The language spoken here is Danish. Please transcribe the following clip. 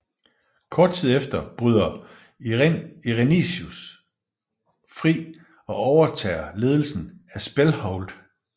Kort tid efter bryder Irenicus fri og overtager ledelsen af Spellhold